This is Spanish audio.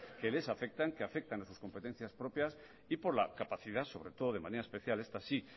que les afectan que afectan a sus competencia propias y por la capacidad sobre todo de manera especial esta sí